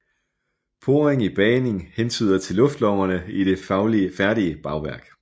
Poring i bagning hentyder til luftlommerne i det færdige bagværk